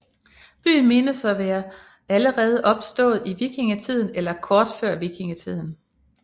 Byen menes at være allerede opstået i vikingetiden eller kort tid før vikingetiden